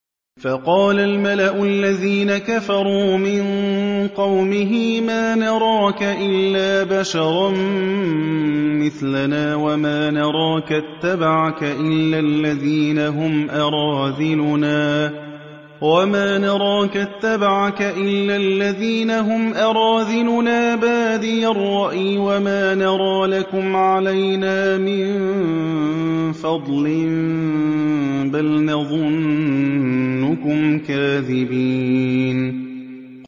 فَقَالَ الْمَلَأُ الَّذِينَ كَفَرُوا مِن قَوْمِهِ مَا نَرَاكَ إِلَّا بَشَرًا مِّثْلَنَا وَمَا نَرَاكَ اتَّبَعَكَ إِلَّا الَّذِينَ هُمْ أَرَاذِلُنَا بَادِيَ الرَّأْيِ وَمَا نَرَىٰ لَكُمْ عَلَيْنَا مِن فَضْلٍ بَلْ نَظُنُّكُمْ كَاذِبِينَ